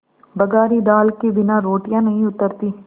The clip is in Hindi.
बघारी दाल के बिना रोटियाँ नहीं उतरतीं